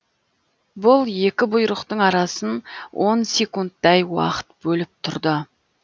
бұл екі бұйрықтың арасын он секундтай уақыт бөліп тұрды